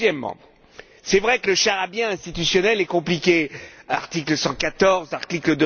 Deuxièmement, c'est vrai que le charabia institutionnel est compliqué article 114, article